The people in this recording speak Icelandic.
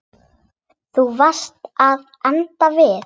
Þú varst að enda við.